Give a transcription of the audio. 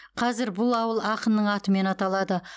қазір бұл ауыл ақынның атымен аталады